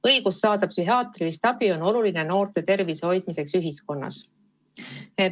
Õigus saada psühhiaatrilist abi on oluline noorte tervise hoidmiseks.